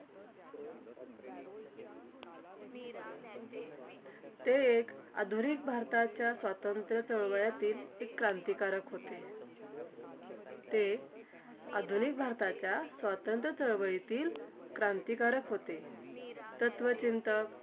ते एक आधुनिक भारताच्या स्वातंत्र्य चळवळ्यातील क्रांतिकारक होते. ते एक आधुनिक भारताच्या स्वातंत्र्य चळवळीतील क्रांतिकारक होते. तत्वचिंतक